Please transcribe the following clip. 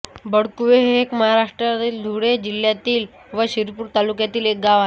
बलकुवे हे एक महाराष्ट्रातील धुळे जिल्ह्यातील व शिरपूर तालुक्यातील गाव आहे